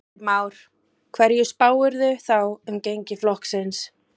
Heimir Már: Hverju spáirðu þá um gengi flokksins?